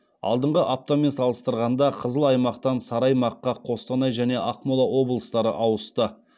алдыңғы аптамен салыстырғанда қызыл аймақтан сары аймаққа қостанай және ақмола облыстары ауысты